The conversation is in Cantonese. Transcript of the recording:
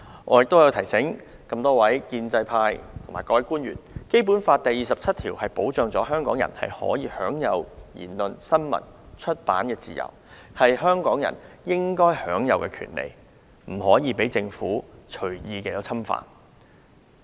我提醒建制派議員和官員，《基本法》第二十七條保障香港人享有言論、新聞、出版自由，這些都是香港人應享有的權利，不得被政府隨意侵犯。